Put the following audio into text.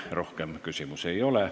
Teile rohkem küsimusi ei ole.